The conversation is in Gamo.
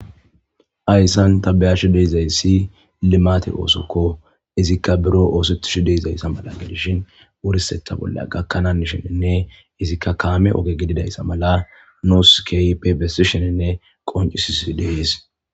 Hayssan ta beyaashshe deizayssi limate oosokko izikka biro oosettishi deizayssa mala gedishin wurseta bolla gakkananisheninne izikka kaame oge gididayssa mala nos kaypebessi sheninne qoncisisi deys